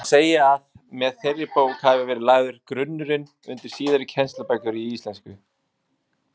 Má segja að með þeirri bók hafi verið lagður grunnurinn undir síðari kennslubækur í íslensku.